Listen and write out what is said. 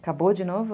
Acabou de novo?